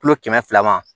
Kulo kɛmɛ fila ma